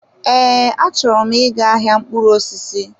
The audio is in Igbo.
Ee, achọrọ m ị ga-ahịa mkpụrụ osisi.